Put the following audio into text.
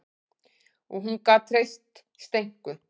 Og hún gat treyst Steinku.